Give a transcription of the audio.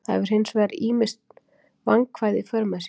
Það hefur hins vegar ýmis vandkvæði í för með sér.